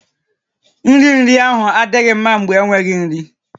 Nri iri ahụ adịghị mma mgbe enweghị nri